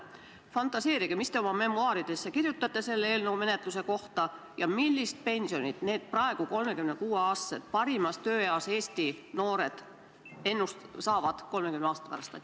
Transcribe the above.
Fantaseerige, mis te oma memuaaridesse selle eelnõu menetlemise kohta kirjutate ja millist pensioni need praegused 36-aastased, parimas tööeas Eesti noored hakkavad 30 aasta pärast saama.